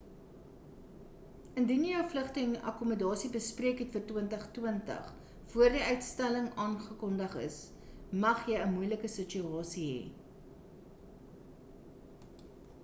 indien jy jou vlugte en akkommodasie bespreek het vir 2020 voor die uitstelling aangekondig is mag jy 'n moeilike situasie hê